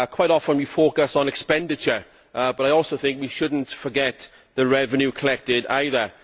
Quite often we focus on expenditure, but I also think we should not forget the revenue collected either.